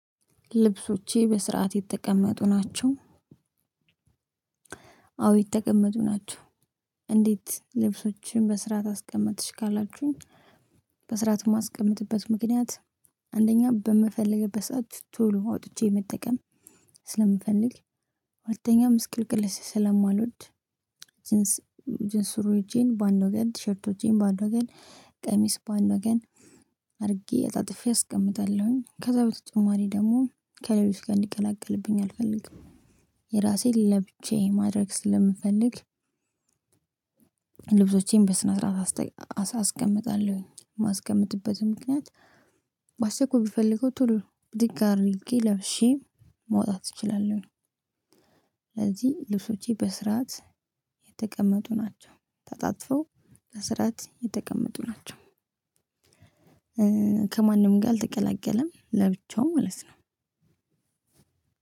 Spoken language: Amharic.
ልብሶቼ በስርዓት የተቀመጡ ናቸው። አዎ የተቀመጡ ናቸው። እንዴት ልብሶችን በስራ አስቀምጥሽ ካላችሁኝ? በስርዓት የማስቀምጥበት ምክንያት አንደኛ በምፈልግበት ሰዓት ቶሎ አውጥቼ መጠቀም ስለምፈልግ። ሁለተኛ ምስቅልቅል ስለማልወድ። ጅንስ ጅንስ ሱሪዎቼን በአንድ ወገን ቲሸርቶቼን በአንድ ወገን ቀሚስ በአንድ ወገን አድርጌ አጣጥፌ አስቀምጣለሁኝ ከዛ በተጨማሪ ደግሞ ከሌሎች ጋር እንዲቀላቀልብኝ አልፈልግም። የራሴን ለብቻዬ ማድረግ ስለምፈልግ። ልብሶቼን በስነ ስርዓት አስቀምጣለሁኝ የማስቀመጥበትም ምክንያት። በአስቸኳይ ብፈልገው ቶሎ ብድግ አድርጌ ለብሼ መውጣት እችላለሁኝ። ስለዚህ ልብሶቼ በስርዓት የተቀመጡ ናቸው። ተጣጥፈው በስርዓት የተቀመጡ ናቸው። ከማንም ጋር አልተቀላቀለም ለብቻው ማለት ነው።